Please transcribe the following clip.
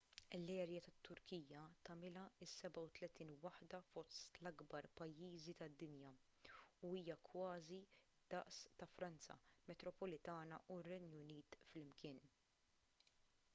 l-erja tat-turkija tagħmilha s-37 waħda fost l-akbar pajjiżi tad-dinja u hija kważi d-daqs ta' franza metropolitana u r-renju unit flimkien